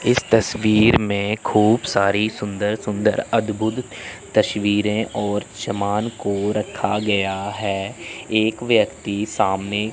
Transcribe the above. इस तस्वीर में खूब सारी सुंदर सुंदर अद्भुत तस्वीरें और सामान को रखा गया है एक व्यक्ति सामने--